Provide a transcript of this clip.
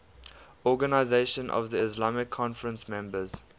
organisation of the islamic conference members